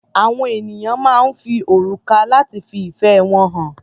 Àwọn ènìyàn máa ń fi òrùka lati fi ìfẹ́ wọn hàn.